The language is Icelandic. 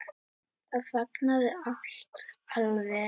Þá þagnaði allt alveg.